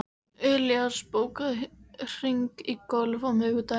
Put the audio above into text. Elías, bókaðu hring í golf á miðvikudaginn.